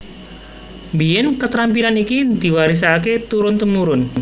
Mbiyèn ketrampilan iki diwarisaké turun tumurun